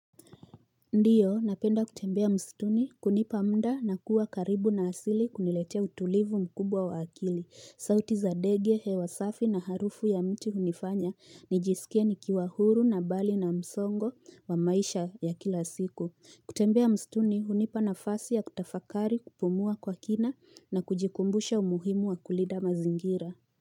Ndiyo, napenda kutembea msituni, kunipa mda na kuwa karibu na asili kuniletea utulivu mkubwa wa akili, sauti za ndege hewa safi na harufu ya mti hunifanya, nijisikie nikiwa huru na mbali na msongo wa maisha ya kila siku. Kutembea msituni, hunipa nafasi ya kutafakari kupumua kwa kina na kujikumbusha umuhimu wa kulinda mazingira.